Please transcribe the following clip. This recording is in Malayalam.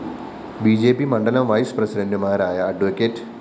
ബി ജെ പി മണ്ഡലം വൈസ്‌ പ്രസിഡന്റുമാരായ അഡ്വ